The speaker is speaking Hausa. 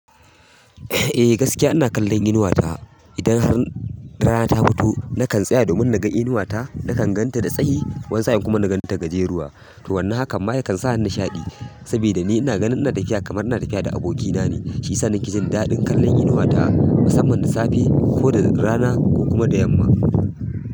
Eh gaskiya ina kallon inuwa ta. Idan har rana ta fito nakan tsaya domin naga inuwa ta, nakan ganta da tsayi, wani sai'n kuma na ganta gajeruwa. To wannan hakan ma yakan sa ni nashaɗi saboda ni ina ganin ina tafiya kamar ina tafiya da aboki na ne. Shiyasa nake jin daɗin kallon inuwa ta musamman da safe ko da rana ko kuma da yamma.